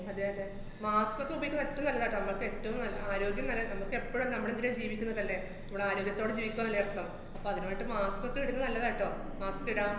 അതെയതെ. mask ക്കൊക്കെ ഉപയോഗിക്കന്ന ഏറ്റോം നല്ലതാട്ടോ. മ്മക്കേറ്റോം നല്‍~ ആഹ് ആരോഗ്യം നല്ല നമ്മക്കെപ്പഴും നമ്മളെന്തിനാ ജീവിക്കുന്നതല്ലേ, മ്മള് ആരോഗ്യത്തോടെ ജീവിക്കുകയല്ലേ അപ്പം. അപ്പ അതിനു വേണ്ടിട്ട് mask ക്കൊക്കെ ഇട്ന്നത് നല്ലതാട്ടൊ. mask ഇടാം